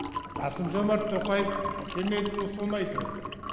қасым жомарт тоқаев кемелұлы соны айтып отыр